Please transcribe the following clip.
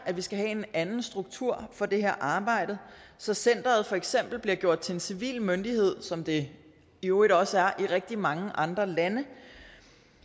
at vi skal have en anden struktur for det her arbejde så centeret for eksempel bliver gjort til en civil myndighed som det i øvrigt også er i rigtig mange andre lande